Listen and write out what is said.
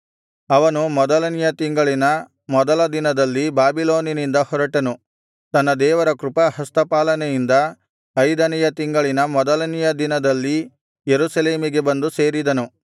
ಅವನು ಮೊದಲನೆಯ ತಿಂಗಳಿನ ಮೊದಲ ದಿನದಲ್ಲಿ ಬಾಬಿಲೋನಿನಿಂದ ಹೊರಟನು ತನ್ನ ದೇವರ ಕೃಪಾ ಹಸ್ತಪಾಲನೆಯಿಂದ ಐದನೆಯ ತಿಂಗಳಿನ ಮೊದಲನೆಯ ದಿನದಲ್ಲಿ ಯೆರೂಸಲೇಮಿಗೆ ಬಂದು ಸೇರಿದನು